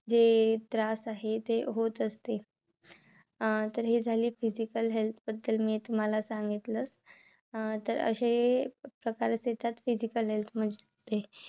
जे त्रास आहे ते होत असतंय. अं तर हे झाली physical health बद्दल मी तुम्हाला सागितलं. अं तर हे प्रकार असे येतात physical health मध्ये